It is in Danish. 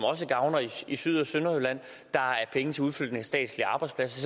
også gavner i syd og sønderjylland der er penge til udflytning af statslige arbejdspladser